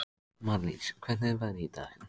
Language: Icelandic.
Marlís, hvernig er veðrið í dag?